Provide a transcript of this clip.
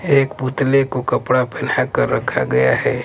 एक पुतले को कपड़ा पहना कर रखा गया है।